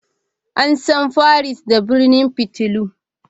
An san Paris da birnin fitilu.